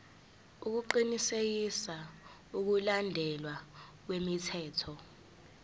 ukuqinisekisa ukulandelwa kwemithetho